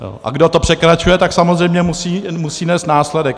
A kdo to překračuje, tak samozřejmě musí nést následek.